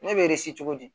Ne bɛ cogo di